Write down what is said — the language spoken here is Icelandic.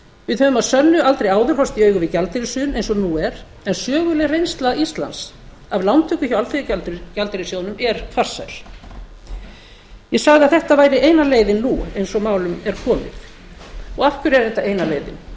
við höfum að sönnu aldrei áður horfst í augu við gjaldeyrishrun eins og nú er en söguleg reynsla íslands af lántöku hjá alþjóðagjaldeyrissjóðnum er farsæl ég sagði að þetta væri eina leiðin nú eins og málum er komið og af hverju er þetta eina leiðin það